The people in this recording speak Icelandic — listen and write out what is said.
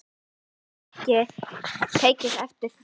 Hefurðu ekki tekið eftir því?